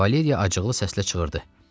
Valeriya acıqlı səslə çığırdı.